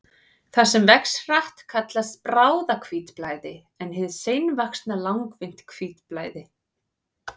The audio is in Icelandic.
Það sem vex hratt kallast bráðahvítblæði en hið seinvaxna langvinnt hvítblæði.